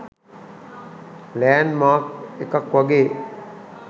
land Mark එකක් වගේ